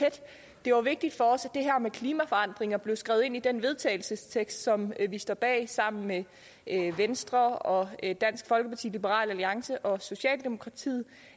det var vigtigt for os at det her med klimaforandringer blev skrevet ind i den vedtagelsestekst som vi står bag sammen med venstre og dansk folkeparti liberal alliance og socialdemokratiet